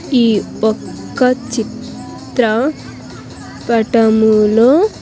ఈ ఒక్క చిత్ర పటములో.